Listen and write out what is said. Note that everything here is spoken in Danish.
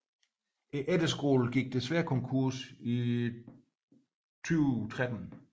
Efterskolen gik desværre konkurs i 2013